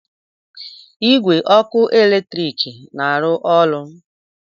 Igwe ọkụ eletrik na-arụ ọrụ?